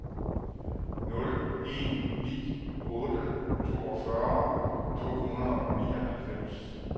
nul en ni otte toogfyrre to hundrede og nioghalvfems